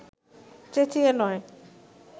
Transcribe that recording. চেঁচিয়ে নয়